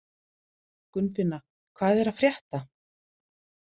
Gunnfinna, hvað er að frétta?